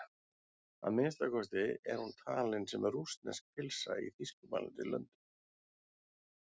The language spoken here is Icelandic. Að minnsta kosti er hún talin sem rússnesk pylsa í þýskumælandi löndum.